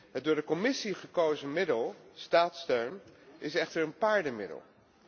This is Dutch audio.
Het door de Commissie gekozen middel, staatssteun, is echter een paardenmiddel.